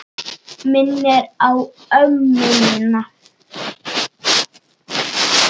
Minnir á ömmu mína.